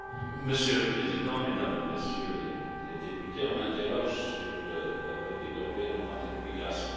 Monsieur le Président, Mesdames et Messieurs les députés, on m'interroge sur la politique européenne en matière d'immigration.